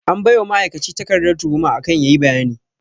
An baiwa ma'aikaci takarda tuhuma akan yayi bayani